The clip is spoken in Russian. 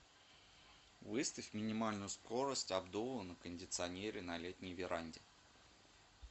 выставь минимальную скорость обдува на кондиционере на летней веранде